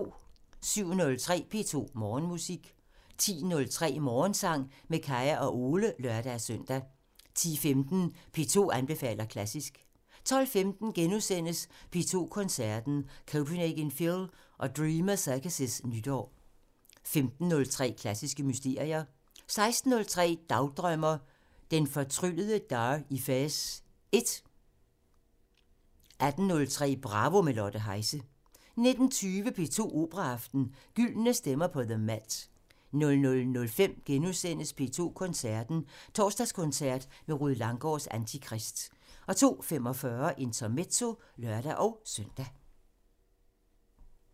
07:03: P2 Morgenmusik 10:03: Morgensang med Kaya og Ole (lør-søn) 10:15: P2 anbefaler klassisk 12:15: P2 Koncerten – Copenhagen Phil og Dreamers Circus' nytår * 15:03: Klassiske mysterier 16:03: Dagdrømmer: Den fortryllede Dar i Fez 1 18:03: Bravo – med Lotte Heise 19:20: P2 Operaaften – Gyldne stemmer på The MET 00:05: P2 Koncerten – Torsdagskoncert med Rued Langgaards Antikrist * 02:45: Intermezzo (lør-søn)